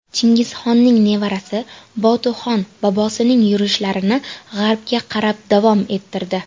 Chingizxonning nevarasi Botuxon bobosining yurishlarini g‘arbga qarab davom ettirdi.